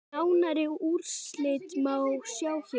Nánari úrslit má sjá hér.